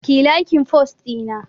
Kiyi laikin fost ɗina